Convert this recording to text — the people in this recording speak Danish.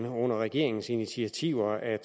under regeringens initiativer at